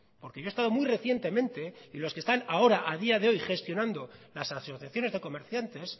porque yo he estado muy recientemente y los que están ahora a día de hoy gestionando las asociaciones de comerciantes